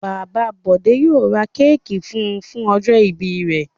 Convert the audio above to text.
Bàbá Bọ̀dé yóò ra kéékì fún un fún ọjọ́-ìbí rẹ̀.